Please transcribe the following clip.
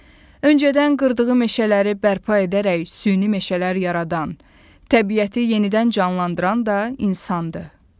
Öncədən qırdığı meşələri bərpa edərək süni meşələr yaradan, təbiəti yenidən canlandıran da insandır.